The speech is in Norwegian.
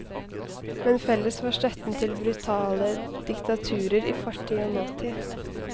Men felles var støtten til brutale diktaturer i fortid og nåtid.